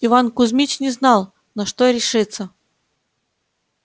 иван кузмич не знал на что решиться